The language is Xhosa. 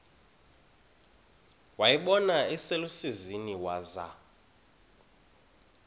wayibona iselusizini waza